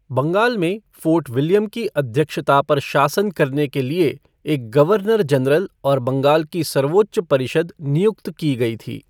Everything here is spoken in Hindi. बंगाल में फ़ोर्ट विलियम की अध्यक्षता पर शासन करने के लिए एक गवर्नर जनरल और बंगाल की सर्वोच्च परिषद नियुक्त की गई थी।